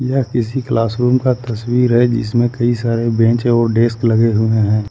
यह किसी क्लासरूम का तस्वीर है जिसमें कई सारे बेंच और डेस्क लगे हुए हैं।